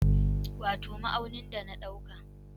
Wato ma'aunin da na dauka